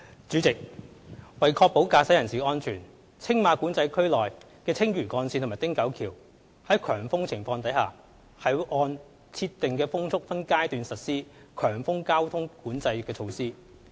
主席，為確保駕駛人士的安全，青馬管制區內的青嶼幹線和汀九橋在強風情況下，會按設定的風速分階段實施強風交通管制措施。